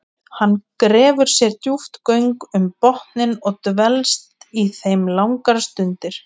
Hann grefur sér djúp göng um botninn og dvelst í þeim langar stundir.